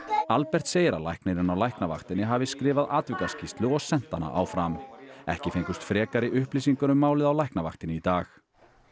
Albert segir að læknirinn á læknavaktinni hafi skrifað atvikaskýrslu og sent hana áfram ekki fengust frekari upplýsingar um málið á Læknavaktinni í dag